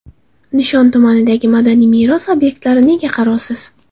Nishon tumanidagi madaniy meros obyektlari nega qarovsiz?.